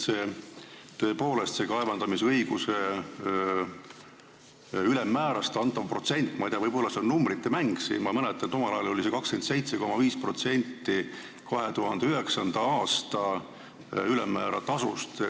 See kaevandamisõiguse tasu ülemmäär – ma ei tea, võib-olla see on numbrite mäng – oli minu mäletamist mööda omal ajal 27,5% 2009. aasta ülemmäärast.